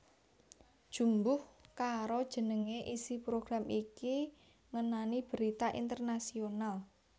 Jumbuh karo jenenge isi program iki ngenani berita internasional